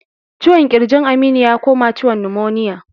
Ciwon kirjin Aminu ya koma ciwon numoniya